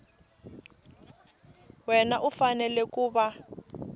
wana u fanele ku va